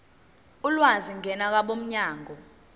ulwazi ngena kwabomnyango